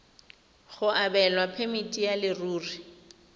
go abelwa phemiti ya leruri